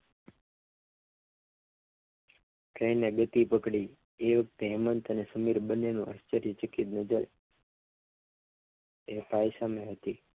જોઈને બધી પકડી હેમંત અને સમીર બંનેનું